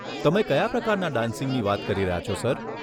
તમે કયા પ્રકારના ડાન્સિંગની વાત કરી રહ્યા છો સર?